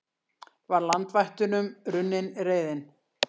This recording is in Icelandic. Var landvættunum runnin reiðin?